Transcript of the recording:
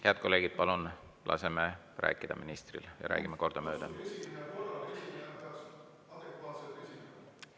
Head kolleegid, palun laseme ministril rääkida ja räägime kordamööda!